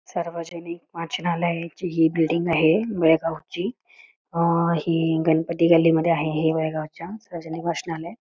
सार्वजनिक वाचनालयाची हि बिल्डिंग आहे बेळगावची गणपती गल्ली मध्ये आहे बेळगावच्या हे सार्वजनिक वाचनालय.